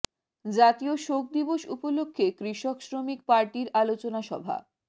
জাতীয় শোক দিবস উপলক্ষে কৃষক শ্রমিক পার্টির আলোচনা সভা